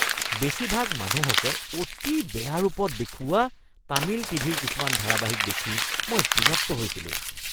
বেছিভাগ মানুহকে অতি বেয়া ৰূপত দেখুওৱা তামিল টিভিৰ কিছুমান ধাৰাবাহিক দেখি মই বিৰক্ত হৈছিলোঁ।